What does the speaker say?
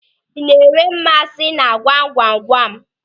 Ị na-enwe mmasị na gwamgwamgwam?